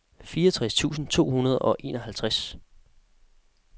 fireogtres tusind to hundrede og enoghalvtreds